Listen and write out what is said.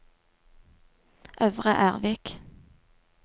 Øvre Ervik